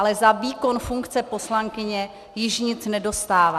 Ale za výkon funkce poslankyně již nic nedostává.